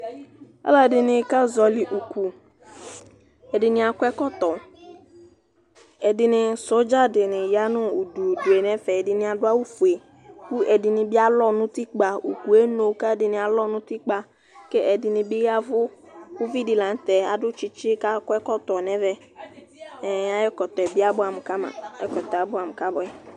alɔ ɛdini ka yɔli uku, ɛdini akɔ ɛkɔtɔ, ɛdini sɔdza di ni ya nu udu udu nu ɛfɛ, ɛdini adu awu fue ɛdini bi alɔ nu utikpa, ukʋɛ eno, ku ɛdini alɔ nu utikpa, ku ɛdini bi yavu, uvi di bi la nu tɛ, adu tsitsi ku akɔ ɛkɔtɔ nu ɛvɛ ɛɛ ayu ɛkɔtɔɛ bi abʋam ka ma, ɛkɔtɔɛ abʋam ka bʋɛ